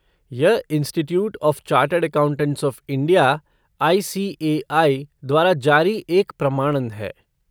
यह institute of chartered accountants of India, I C A I, द्वारा जारी एक प्रमाणन है।